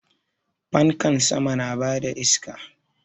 Fankan sama na bada iska